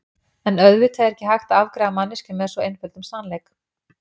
En auðvitað er ekki hægt að afgreiða manneskju með svo einföldum sannleik.